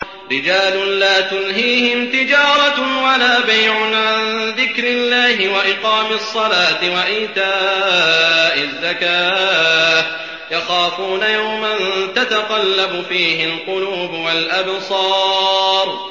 رِجَالٌ لَّا تُلْهِيهِمْ تِجَارَةٌ وَلَا بَيْعٌ عَن ذِكْرِ اللَّهِ وَإِقَامِ الصَّلَاةِ وَإِيتَاءِ الزَّكَاةِ ۙ يَخَافُونَ يَوْمًا تَتَقَلَّبُ فِيهِ الْقُلُوبُ وَالْأَبْصَارُ